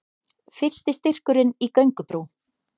Fyrsti styrkurinn í göngubrú